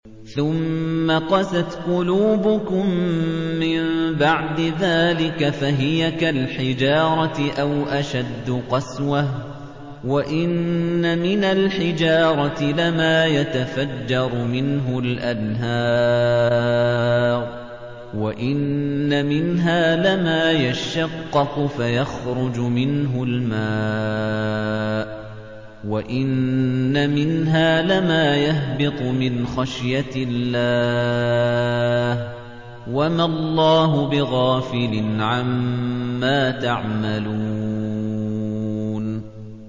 ثُمَّ قَسَتْ قُلُوبُكُم مِّن بَعْدِ ذَٰلِكَ فَهِيَ كَالْحِجَارَةِ أَوْ أَشَدُّ قَسْوَةً ۚ وَإِنَّ مِنَ الْحِجَارَةِ لَمَا يَتَفَجَّرُ مِنْهُ الْأَنْهَارُ ۚ وَإِنَّ مِنْهَا لَمَا يَشَّقَّقُ فَيَخْرُجُ مِنْهُ الْمَاءُ ۚ وَإِنَّ مِنْهَا لَمَا يَهْبِطُ مِنْ خَشْيَةِ اللَّهِ ۗ وَمَا اللَّهُ بِغَافِلٍ عَمَّا تَعْمَلُونَ